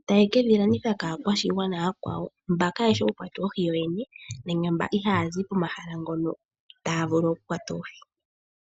Etaye ke dhi landitha kaakwashigwana ooyakwawo mba kaayeshi oku kwata oohi yoyene nenge mbo ihaaya zi pomahala ngono taya vulu oku kwata oohi.